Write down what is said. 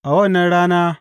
A wannan rana,